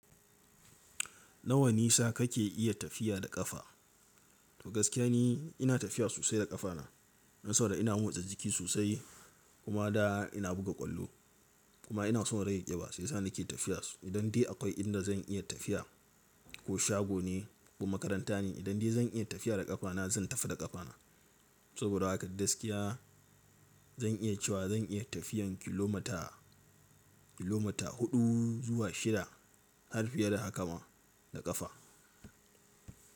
Nawa nisa kake iya tafiya da ƙafa? To gaskiya ni ina tafiya sosai da ƙafana. Dan saboda ina motsa jiki sosai kuma da ina buga ƙwallo kuma ina son in rage ƙiba shiyasa nake tafiya. Idan dai akwai inda zan iya tafiya ko shago ne ko makaranta ne, idan dai zan iya tafiya da ƙafana zan tafi da ƙafana. Saboda haka gaskiya zan iya cewa zan iya tafiyan kilomita, kilomita huɗu zuwa shida har fiye da haka ma da ƙafa.